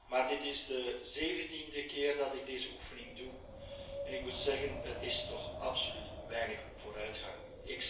Maar dit is de zeventiende keer dat ik deze oefening doe en ik moet zeggen dat er toch absoluut weinig vooruitgang is.